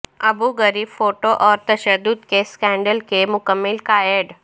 ابو Ghraib photo اور تشدد کے اسکینڈل کے مکمل گائیڈ